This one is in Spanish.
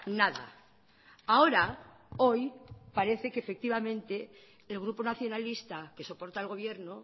nada ahora hoy parece que efectivamente el grupo nacionalista que soporta al gobierno